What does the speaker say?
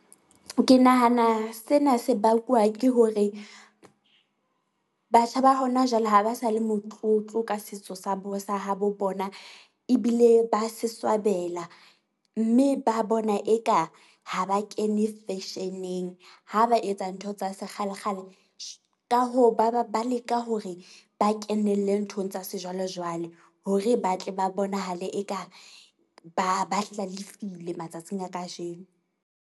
Ke nahana sena se bakwa ke hore, batjha ba hona jwale ha ba sa le motlotlo ka setso sa sa habo bona. Ebile ba se swabela mme ba bona eka ha ba kene fashion-eng, ha ba etsa ntho tsa sekgale kgale , ka ho ba ba ba leka hore ba kenelle nthong tsa sejwalejwale hore ba tle ba bonahale eka ba ba hlalefile matsatsing a kajeno.